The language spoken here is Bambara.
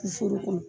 Foro kɔnɔ